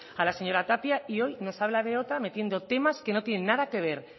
a la señora tapia y hoy nos habla de otra metiendo temas que no tienen nada que ver